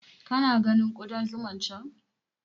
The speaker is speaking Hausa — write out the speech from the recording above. Ka na ganin Ƙudan zuman can?